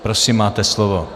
Prosím, máte slovo.